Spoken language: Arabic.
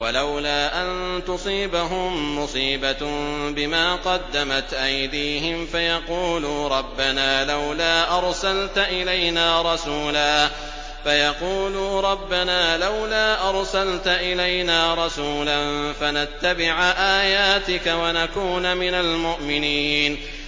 وَلَوْلَا أَن تُصِيبَهُم مُّصِيبَةٌ بِمَا قَدَّمَتْ أَيْدِيهِمْ فَيَقُولُوا رَبَّنَا لَوْلَا أَرْسَلْتَ إِلَيْنَا رَسُولًا فَنَتَّبِعَ آيَاتِكَ وَنَكُونَ مِنَ الْمُؤْمِنِينَ